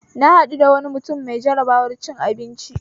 Na haɗu da wani mutum mai jarabar cin abinci